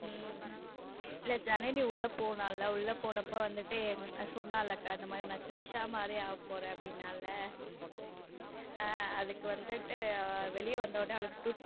உம் இல்ல ஜனனி உள்ள போனால உள்ள போனப்போ வந்துட்டு சொன்னல அக்கா இந்த மாதிரி நான் த்ரிஷா மாதிரி ஆகப் போறேன்னு சொன்னாலே ஹம் அதுக்கு வந்துட்டு வெளியில வந்த உடனே அவளுக்கு.